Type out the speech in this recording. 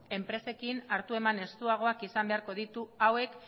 enpresekin hartu eman estuagoak izan beharko ditu hauek